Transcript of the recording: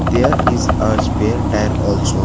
There is a spare tire also --